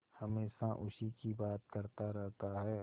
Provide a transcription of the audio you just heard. हमेशा उसी की बात करता रहता है